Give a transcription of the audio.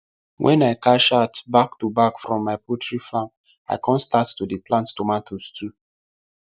wen i cash out back to back from my poulty farm i con start to dey plant tomatoes too